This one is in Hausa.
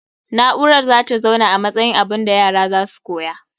Na'urar zata zauna a matsayin abunda yara zasu koya